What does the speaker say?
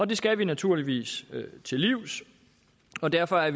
det skal vi naturligvis til livs og derfor er